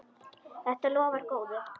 Þetta lofar góðu.